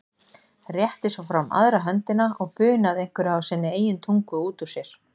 Rétti svo fram aðra höndina og bunaði einhverju á sinni eigin tungu út úr sér.